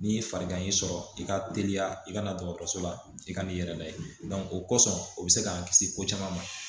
Ni farigan y'i sɔrɔ i ka teliya i ka na dɔgɔtɔrɔso la i ka n'i yɛrɛ lajɛ o kosɔn o bɛ se k'an kisi ko caman ma